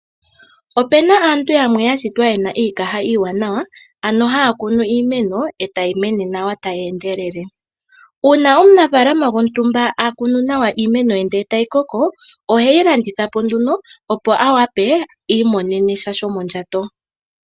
Opena aantu yamwe yashitwa yena iikaha iiwanawa ano hakunu iimeno e tayi mene nawa tayi endelele. Una omunafaalama gwontumba akunu nawa iimeno ye ndele tayi koko ohayi landitha po nduno opo awape iimonene sha shomondjato.